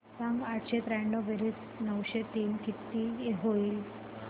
सांग आठशे त्र्याण्णव बेरीज नऊशे तीन किती होईल